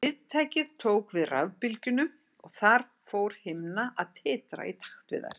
Viðtækið tók við rafbylgjunum og þar fór himna að titra í takt við þær.